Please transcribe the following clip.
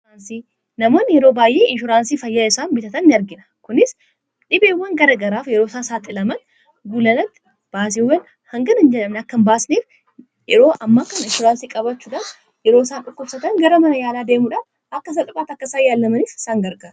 namoon yeroo baay'ei inshoraansii fayyaa isaan bitatan in argina kunis dhibeewwan gara garaaf yeroo isaa saaxi laman gulalatti baasiiwwan hanganinjalam akkan baasneif yeroo amma akkan insuransii qabachuudaas yeroo isaan dhukkubsatan gara mana yaalaa deemudhaa akka sadhuphaat akkasaa yaallamaniis sangarga